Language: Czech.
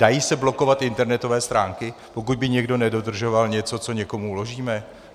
Dají se blokovat internetové stránky, pokud by někdo nedodržoval něco, co někomu uložíme?